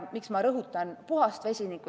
Miks ma rõhutan puhast vesinikku?